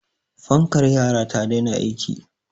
fankar yara ta daina aiki